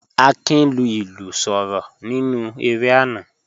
Akin lu ilu soro ninu ere ana